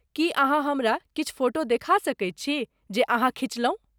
की अहाँ हमरा किछु फोटो देखा सकैत छी जे अहाँ खिचलहुँ?